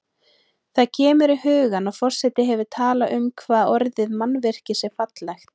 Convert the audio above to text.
Það kemur í hugann að forseti hefur talað um hvað orðið mannvirki sé fallegt.